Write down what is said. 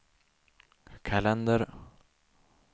kalender